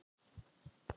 Svo fer hver sem fær er.